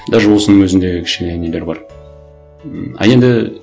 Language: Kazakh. даже осының өзінде кішкене нелер бар м а енді